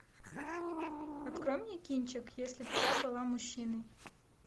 открой мне кинчик если б я была мужчиной